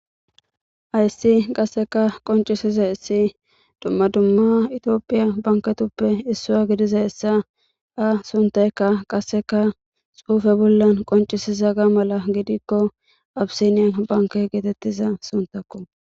Hayisi qaseka qoncisizayisi dumma dumma ethiopia banketuppe issua gidizayisa a sunthayika qaseka xufe bola qonchisizaga mala gidikko abisiny banke getetiza sunthakko.